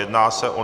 Jedná se o